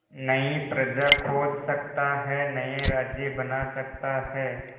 नई प्रजा खोज सकता है नए राज्य बना सकता है